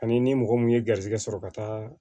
Ani ni mɔgɔ mun ye garisɛgɛ sɔrɔ ka taa